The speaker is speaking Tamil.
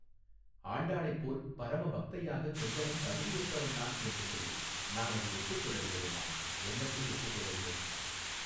ஆண்டாளைப் போல் பரம்பக்தையாகக் கொஞ்சமும் தகுதியற்றவள் நான் என்று சொல்லு நான் அதை ஒப்புக் கொள்ளவில்லை அம்மா என்னத்தை ஒப்புக்கொள்ளவில்லை.